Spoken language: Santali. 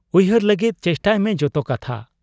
ᱩᱭᱦᱟᱹᱨ ᱞᱟᱹᱜᱤᱫ ᱪᱮᱥᱴᱟᱭᱢᱮ ᱡᱚᱛᱚ ᱠᱟᱛᱷᱟ ᱾